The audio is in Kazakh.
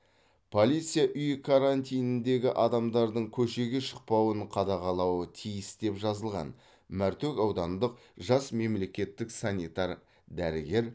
полиция үй карантиніндегі адамдардың көшеге шықпауын қадағалауы тиіс деп жазылған мәртөк аудандық жас мемлекеттік санитар дәрігер